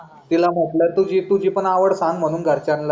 तिला म्हटल तुझी तुझी पण आवड सांग म्हणून घरच्यांना